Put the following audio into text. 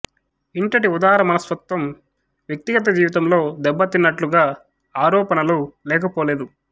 ఇంటటి ఉదార మనస్తత్వం వ్యక్తిగత జీవితంలో దెబ్బతిన్నట్లుగా ఆరోపణలు లెకపోలేదు